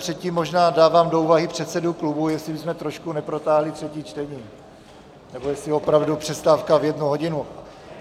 Předtím možná dávám do úvahy předsedů klubů, jestli bychom trošku neprotáhli třetí čtení, nebo jestli opravdu přestávka v jednu hodinu.